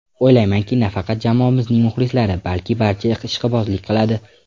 O‘ylaymanki, nafaqat jamoamizning muxlislari balki, barcha ishqibozlik qiladi.